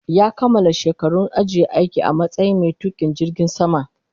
Ya kamala shekarun ajiye aiki a matsayin mai tukin jirgin sama